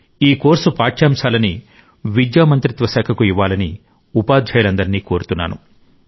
ఈ కోర్సు సామగ్రిని విద్యా మంత్రిత్వ శాఖకు ఇవ్వాలని ఉపాధ్యాయులందరినీ కోరుతున్నాను